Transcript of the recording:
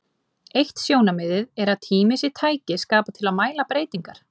Eitt sjónarmiðið er að tími sé tæki skapað til að mæla breytingar.